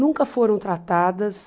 Nunca foram tratadas...